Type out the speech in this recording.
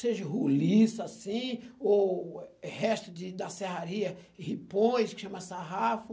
Seja ruliça, assim, ou resto de da serraria, ripões, que chama sarrafo.